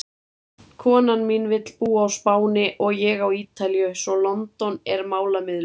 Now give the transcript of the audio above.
Konan mín vill búa á Spáni og ég á Ítalíu svo London er málamiðlun!